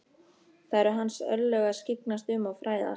Það eru hans örlög að skyggnast um og fræðast.